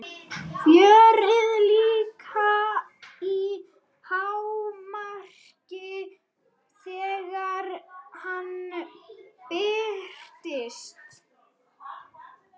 Fjörið líka í hámarki þegar hann birtist.